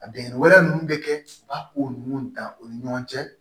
A bɛnnɛ wɛrɛ nunnu bɛ kɛ u b'a ko ninnu dan u ni ɲɔgɔn cɛ